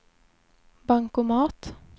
bankomat